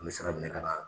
An bɛ sira minɛ ka na